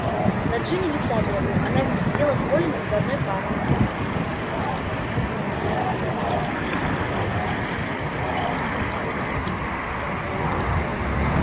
на джинни лица не было она ведь сидела с колином за одной партой